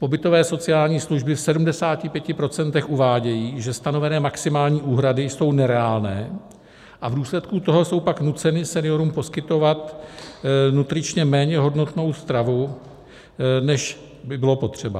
Pobytové sociální služby v 75 % uvádějí, že stanovené maximální úhrady jsou nereálné a v důsledku toho jsou pak nuceny seniorům poskytovat nutričně méně hodnotnou stravu, než by bylo potřeba.